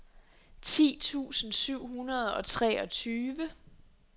ti tusind syv hundrede og treogtyve